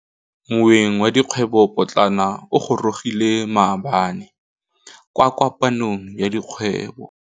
Moêng wa dikgwêbô pôtlana o gorogile maabane kwa kopanong ya dikgwêbô.